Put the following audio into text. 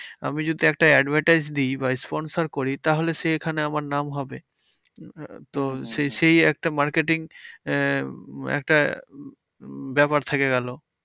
আমি যদি একটা advertise দিই বা sponsor করি তাহলে সেখানে আমার নাম হবে। তো সেই একটা marketing আহ একটা উম ব্যাপার থেকে গেলো।